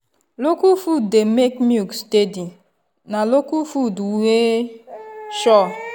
local food dey make milk steady na local food wey sure.